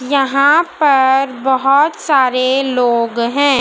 यहां पर बहुत सारे लोग हैं।